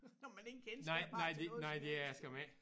Når man ingen kendskab har til noget som helst